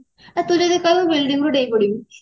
ଏ ତୁ ଟିକେ କହିବୁ building ରୁ ଡେଇଁ ପଡିବି